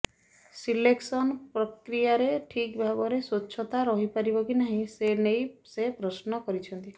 selection ପ୍ରକିୟାରେ ଠିକ୍ ଭାବରେ ସ୍ୱଚ୍ଛତା ରହିପାରିବ କି ନାହିଁ ସେ ନେଇ ସେ ପ୍ରଶ୍ନ କରିଛନ୍ତି